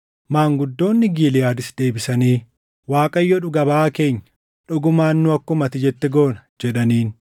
Maanguddoonni Giliʼaadis deebisanii, “ Waaqayyo dhuga baʼaa keenya; dhugumaan nu akkuma ati jette goona” jedhaniin.